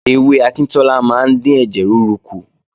Ewé akíntọ́lá máa ń dín ẹ̀jẹ̀ rúru kù